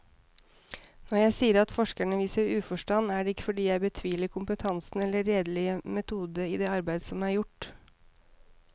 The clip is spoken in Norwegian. Når jeg sier at forskerne viser uforstand, er det ikke fordi jeg betviler kompetansen eller redelig metode i det arbeid som er gjort.